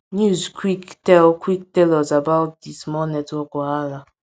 news quick tell quick tell us about di small network wahala